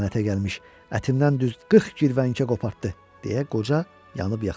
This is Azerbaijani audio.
Lənətə gəlmiş ətimdən düz qırx girvənkə qopartdı, deyə qoca yanıb-yaxıldı.